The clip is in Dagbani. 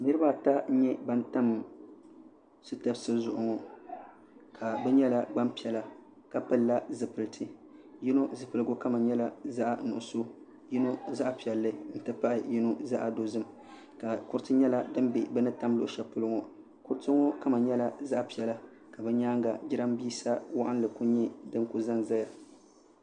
niriba ata n-nyɛ ban tam sitafsi zuɣu ŋɔ ka bɛ nyɛla gbaŋ' piɛla ka pilila zupilisi yino zupiligu kama nyɛla zaɣ' nuɣisɔ yino zaɣ' piɛlli nti pahi yino zaɣ' dozim ka kuriti nyɛla din be bɛ ni tam luɣ'shɛli polo ŋɔ kuriti ŋɔ kama nyɛla zaɣ' piɛla ka bɛ nyaaga jiraaminsa waɣinli ku nyɛ din kuli za n-za ya.